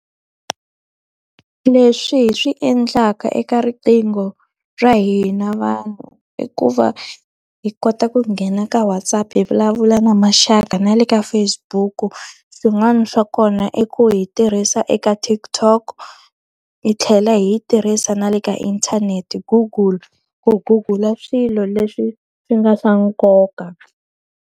Leswi hi swi endlaka eka riqingho ra hina vanhu i ku va, hi kota ku nghena ka WhatsApp hi vulavula na maxaka, na le ka Facebook-u. Swin'wana swa kona i ku hi tirhisa eka TikTok hi tlhela hi yi tirhisa na le ka inthanete. Google, ku Google-a swilo leswi swi nga swa nkoka.